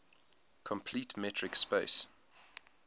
complete metric space